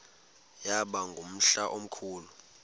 yaba ngumhla omkhulu